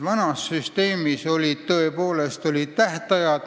Vanas süsteemis olid tõepoolest tähtajad.